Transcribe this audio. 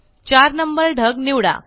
चार नंबर ढग निवडा